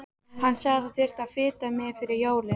Hann sagði að það þyrfti að fita mig fyrir jólin.